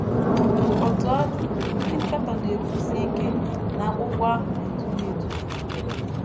Otú ọ dị, ndị nkatọ na - ekwusi ike na akwụkwọ ahụ na - eduhie eduhie.